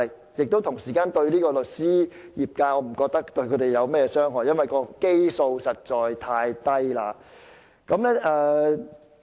我不覺得這樣做會對律師業界有何傷害，因為基數實在太低。